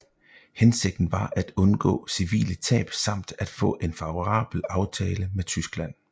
Hensigten var at undgå civile tab samt at få en favorabel aftale med Tyskland